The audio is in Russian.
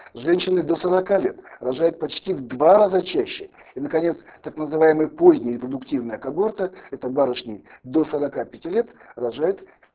женщины до сорока лет рожают почти в два раза чаще и наконец так называемый поздний индуктивная когорта это барышни до сорока пяти лет рожают